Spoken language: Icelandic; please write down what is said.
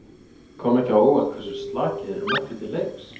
Kom ekki á óvart hversu slakir þeir mættu til leiks?